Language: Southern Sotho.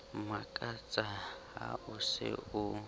mmakatsa ha o se o